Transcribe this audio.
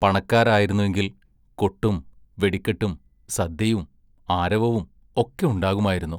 പണക്കാരായിരുന്നെങ്കിൽ കൊട്ടും വെടിക്കെട്ടും സദ്യയും ആരവവും ഒക്കെ ഉണ്ടാകുമായിരുന്നു.